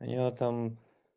а я там